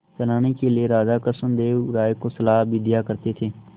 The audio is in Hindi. चलाने के लिए राजा कृष्णदेव राय को सलाह भी दिया करते थे